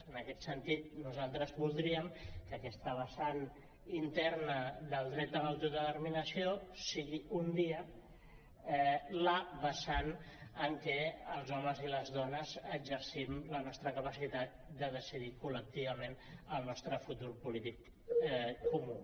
en aquest sentit nosaltres voldríem que aquesta vessant interna del dret a l’autodeterminació sigui un dia la vessant en què els homes i les dones exercim la nostra capacitat de decidir col·lectivament el nostre futur polític comú